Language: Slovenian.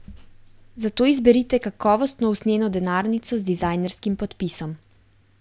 Zato izberite kakovostno usnjeno denarnico z dizajnerskim podpisom.